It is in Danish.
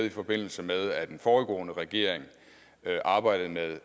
i forbindelse med at en foregående regering arbejdede med